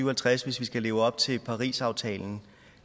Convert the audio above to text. halvtreds hvis vi skal leve op til parisaftalen